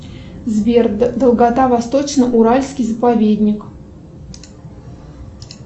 сбер долгота восточно уральский заповедник